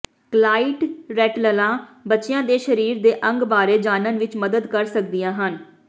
ਕਲਾਈਟ ਰੈਟਲਲਾਂ ਬੱਚਿਆਂ ਦੇ ਸਰੀਰ ਦੇ ਅੰਗਾਂ ਬਾਰੇ ਜਾਣਨ ਵਿੱਚ ਮਦਦ ਕਰ ਸਕਦੀਆਂ ਹਨ